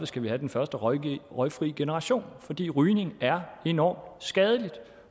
skal vi have den første røgfri røgfri generation fordi rygning er enormt skadeligt